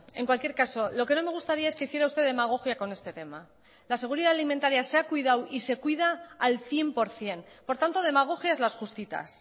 en cualquier caso lo que no me gustaría es que hiciera usted demagogia con este tema la seguridad alimentaria se ha cuidado y se cuida al cien por ciento por tanto demagogias las justitas